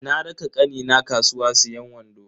Na raka kanina kasuwa siyan wando.